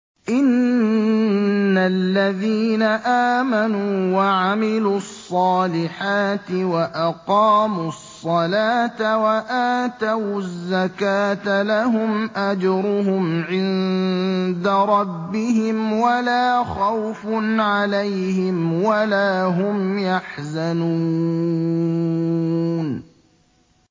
إِنَّ الَّذِينَ آمَنُوا وَعَمِلُوا الصَّالِحَاتِ وَأَقَامُوا الصَّلَاةَ وَآتَوُا الزَّكَاةَ لَهُمْ أَجْرُهُمْ عِندَ رَبِّهِمْ وَلَا خَوْفٌ عَلَيْهِمْ وَلَا هُمْ يَحْزَنُونَ